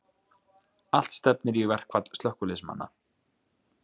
Allt stefnir í verkfall slökkviliðsmanna